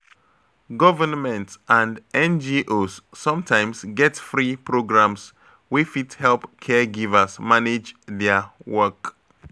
Government and NGOs sometimes get free programs wey fit help caregivers manage their work.